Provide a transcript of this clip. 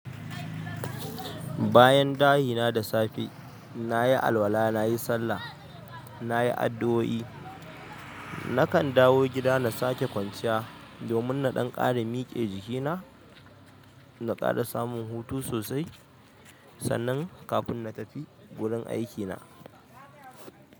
Bayan dashi na da safe, nayi alwala, nayi sallah, nayi addu'o'i, nakan dawo gida na sake kwanciya domin na ɗan ƙare mike jikina na ƙara samun hutu sosai, sannan kafin na tafi gurin aiki na.